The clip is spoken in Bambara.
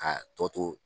A tɔ to